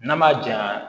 N'a ma jaɲa